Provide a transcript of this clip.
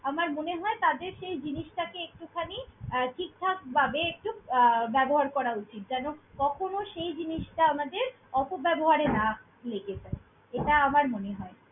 আমার মনে হয় তাদের সেই জিনিসটাকে একটুখানি আহ ঠিকঠাকভাবে একটু আহ ব্যবহার করা উচিত। যেন কখনো সেই জিনিসটা আমাদের অপব্যবহারে না লেগে যায়। এটা আমার মনে হয়।